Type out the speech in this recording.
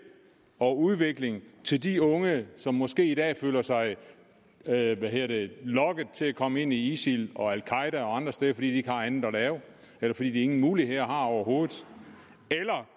og udvikling til de unge som måske i dag føler sig lokket til at komme ind i isil og al qaeda og andre steder fordi de ikke har andet at lave eller fordi de ingen muligheder har overhovedet